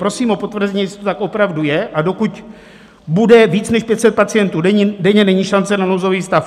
Prosím o potvrzení, jestli to tak opravdu je, a dokud bude více než 500 pacientů denně, není šance na nouzový stav.